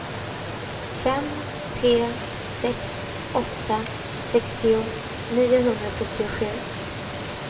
fem tre sex åtta sextio niohundrasjuttiosju